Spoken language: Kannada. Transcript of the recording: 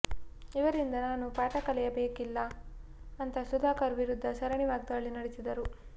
ಇವರಿಂದ ನಾನು ಪಾಠ ಕಲಿಯಬೇಕಿಲ್ಲ ಅಂತ ಸುಧಾಕರ್ ವಿರುದ್ಧ ಸರಣಿ ವಾಗ್ದಾಳಿ ನಡೆಸಿದರು